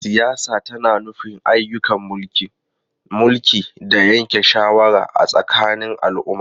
Siyasa tana nufin ayyukan mulki, mulki, da yanke shawara a tsakanin al'umma.